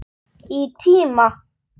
Í tíma.